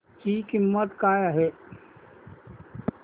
ची किंमत काय आहे